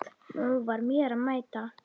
Nú var mér að mæta!